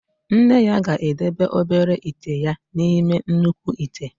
Nne ya ga-edebe obere ite ya n'ime nnukwu ite.